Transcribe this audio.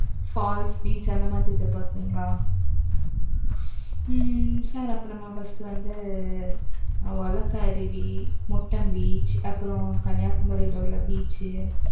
falls beach அந்த மாதிரி எதிர்பார்க்கிறீங்களா? அப்ப நம்ம first வந்து, உலக்கை அருவி, முட்டம் beach அப்புறம் கன்னியாகுமரியில உள்ள beach